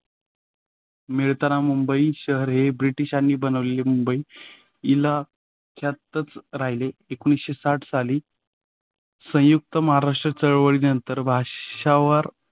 मिळताना मुंबई शहर हे ब्रिटिशांनी बनवलेले मुंबई हिला यातच राहिले. एकोणीसाठ साली संयुक्त महाराष्ट्र चळवळी नंतर भाषावर.